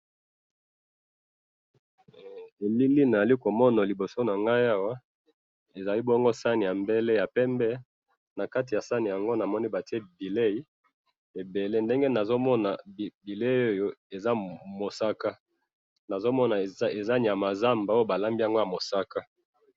ndenge nazali komona liboso nangayi awa, ezali bongo sahani ya mbele bileyi ya pembe ,nakati ya sahani yango namoni batiye bileyi ebele ndenge namoni yango bileyi yango eza mosaka namoni eza nyama ya zandu balambi ezali mosaka